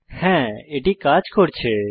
হ্যাঁ এটি কাজ করছে